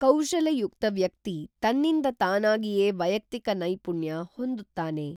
ಕೌಶಲಯುಕ್ತ ವ್ಯಕ್ತಿ ತನ್ನಿಂದ ತಾನಾಗಿಯೇ ವೈಯಕ್ತಿಕ ನೈಪುಣ್ಯ ಹೊಂದುತ್ತಾನೆ.